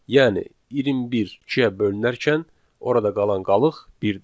Yəni, 21 ikiyə bölünərkən orada qalan qalıq birdir.